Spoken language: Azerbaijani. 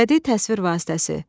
Bədii təsvir vasitəsi.